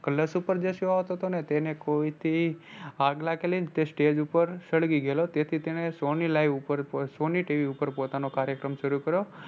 colors ઉપર જે show આવતો હતો ને તેને કોઇથી આગ લાગેલી ને તે stage ઉપર સળગી ગયેલો તેથી તેને sony live ઉપર sony TV ઉપર પોતાનો કાર્યક્રમ શરૂ કર્યો.